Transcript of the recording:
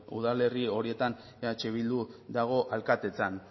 udalerri horietan eh bildu dago alkatetzan